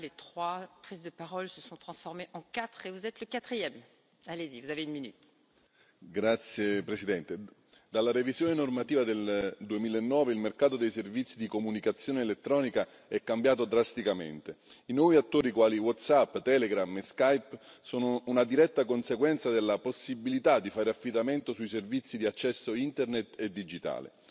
Signora Presidente, onorevoli colleghi, dalla revisione normativa del 2009 il mercato dei servizi di comunicazione elettronica è cambiato drasticamente. I nuovi attori quali WhatsApp, Telegram e Skipe sono una diretta conseguenza della possibilità di fare affidamento sui servizi di accesso Internet e digitale.